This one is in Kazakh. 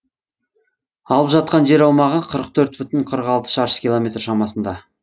алып жатқан жер аумағы қырық төрт бүтін қырық алты шаршы километр шамасында